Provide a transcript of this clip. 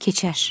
Keçər,